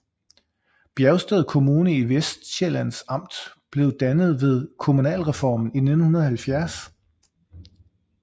Bjergsted Kommune i Vestsjællands Amt blev dannet ved kommunalreformen i 1970